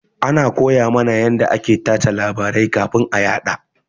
Ana koya mana yanda ake tace labarai kafin a yaɗa.